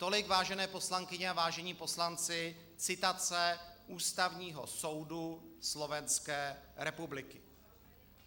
Tolik, vážené poslankyně a vážení poslanci, citace Ústavního soudu Slovenské republiky.